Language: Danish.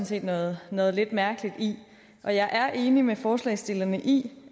set noget noget lidt mærkeligt i og jeg er enig med forslagsstillerne i